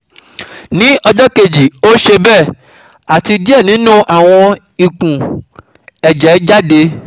Ni ọjọ keji o ṣe be, ati diẹ ninu awọn ikun/ẹjẹ jade